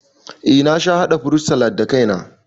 Eh na sha haɗa furut salad da kai na